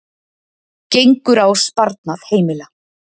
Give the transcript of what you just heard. Gengur á sparnað heimila